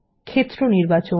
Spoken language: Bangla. ক্ষেত্র নির্বাচন